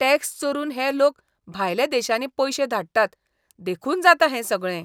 Tax चोरून हे लोक भायल्या देशांनी पयशे धाडटात देखून जाता हें सगळें.